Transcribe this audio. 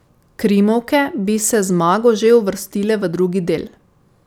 Krimovke bi se z zmago že uvrstile v drugi del.